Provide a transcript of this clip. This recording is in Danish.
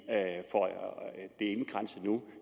indkranset nu